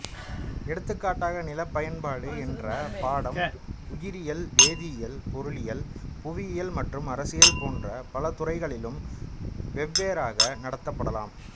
எடுத்துக்காட்டாக நிலப் பயன்பாடு என்ற பாடம் உயிரியல் வேதியியல் பொருளியல் புவியியல் மற்றும் அரசியல் போன்ற பலதுறைகளிலும் வெவ்வேறாக நடத்தப்படலாம்